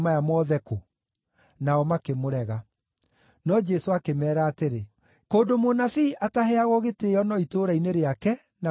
Nao makĩmũrega. No Jesũ akĩmeera atĩrĩ, “Kũndũ mũnabii ataheagwo gĩtĩĩo no itũũra-inĩ rĩake na gwake mũciĩ.”